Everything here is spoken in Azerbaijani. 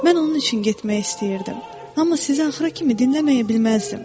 Mən onun üçün getmək istəyirdim, amma sizi axıra kimi dinləməyə bilməzdim.